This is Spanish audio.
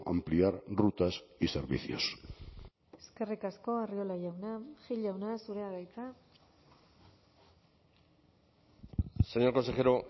ampliar rutas y servicios eskerrik asko arriola jauna gil jauna zurea da hitza señor consejero